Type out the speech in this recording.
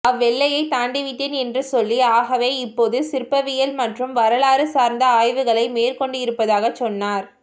அவ்வெல்லையை தாண்டிவிட்டேன் என்று சொல்லி ஆகவே இப்போது சிற்பவியல் மற்றும் வரலாறு சார்ந்து ஆய்வுகளை மேற்கொண்டிருப்பதாகச் சொன்னார்